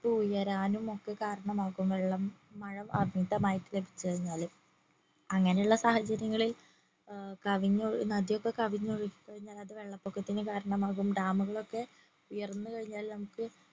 ഉയരാനും ഒക്കെ കാരണമാകും വെള്ളം മഴ അങ്ങനത്തെ മഴൊക്കെ ലഭിച് കഴിഞ്ഞാല് അങ്ങനെ ഉള്ള സാഹചര്യങ്ങളിൽ കവിഞ്ഞൊഴു നദി ഒക്കെ കവിഞ്ഞൊഴുകിക്കഴിഞ്ഞാല് അത് വെള്ളപ്പൊക്കത്തിന് കാരണമാകും ഡാമുകളൊക്കെ ഉയർന്നു കഴിഞ്ഞാല് നമുക്ക്